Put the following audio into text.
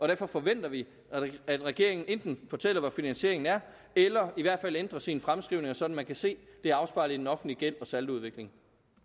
derfor forventer vi at regeringen enten fortæller hvor finansieringen er eller i hvert fald ændrer sine fremskrivninger sådan at man kan se at det er afspejlet i den offentlige gæld og saldoudvikling